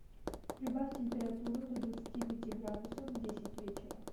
прибавь температуру до двадцати пяти градусов в десять вечера